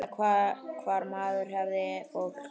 Vita hvar maður hafði fólk.